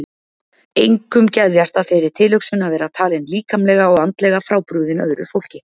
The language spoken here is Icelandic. Engum geðjast að þeirri tilhugsun að vera talinn líkamlega og andlega frábrugðinn öðru fólki.